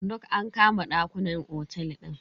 Duk an kama ɗakunan otel din.